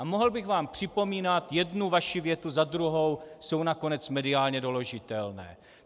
A mohl bych vám připomínat jednu vaši větu za druhou, jsou nakonec mediálně doložitelné.